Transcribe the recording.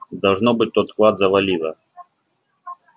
должно быть тот склад завалило